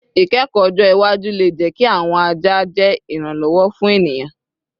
Ikẹkọ ọjọ iwaju le jẹ ki awọn aja je iranlọwọ fun eniyan